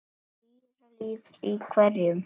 Dýralíf í hverum